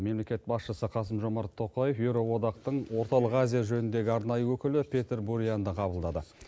мемлекет басшысы қасым жомарт тоқаев еуроодақтың орталық азия жөніндегі арнайы өкілі петер бурианды қабылдады